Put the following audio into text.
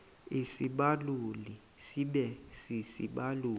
isibaluli sibe sisibaluli